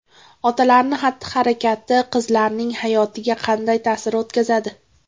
Otalarning xatti-harakati qizlarning hayotiga qanday ta’sir o‘tkazadi?.